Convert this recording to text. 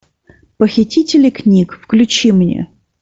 похитители книг включи мне